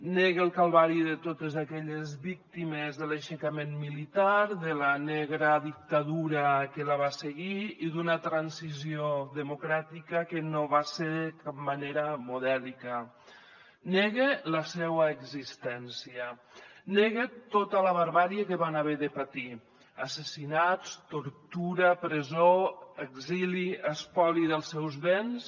nega el calvari de totes aquelles víctimes de l’aixecament militar de la negra dictadura que la va seguir i d’una transició democràtica que no va ser de cap manera modèlica nega la seua existència nega tota la barbàrie que van haver de patir assassinats tortura presó exili espoli dels seus béns